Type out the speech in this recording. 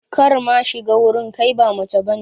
Kar ma shiga wurin, kai ba mace bane.